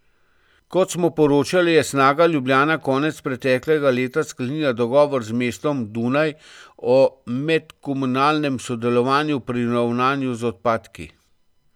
Kot smo poročali, je Snaga Ljubljana konec preteklega leta sklenila dogovor z mestom Dunaj o medkomunalnem sodelovanju pri ravnanju z odpadki.